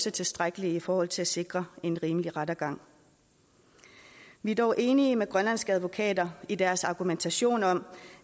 er tilstrækkelige i forhold til at sikre en rimelig rettergang vi er dog enige med grønlandske advokater i deres argumentation om